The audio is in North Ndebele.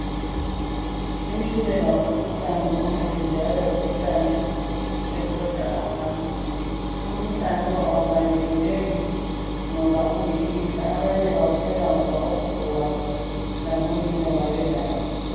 Itshukela ngumkhuhlane omubi njalo ngumkhuhlane oqeda abantu, umkhuhlane lo awubalekeleki ngoba uyilifa, abanye bawuthola ngoba ogogobabo labo nina babelawo.